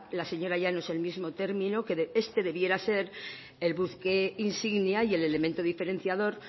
la señora llanos el mismo término que este debiera ser el buque insignia y el elemento diferenciador